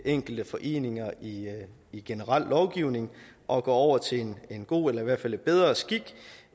enkelte foreninger i i generel lovgivning og går over til en god eller i hvert fald bedre skik